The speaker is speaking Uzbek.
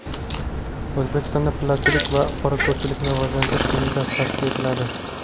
O‘zbekistonda Pillachilik va qorako‘lchilikni rivojlantirish qo‘mitasi tashkil etiladi.